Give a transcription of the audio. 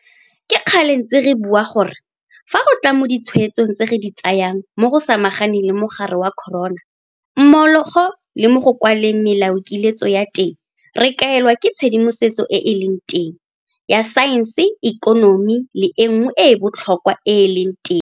Ke kgale re ntse re bua gore fa go tla mo ditshwetsong tse re di tsayang mo go samaganeng le mogare wa corona mmogo le mo go kwaleng melaokiletso ya teng, re kaelwa ke tshedimosetso e e leng teng ya saense, ikonomi le e nngwe e e botlhokwa e e leng teng.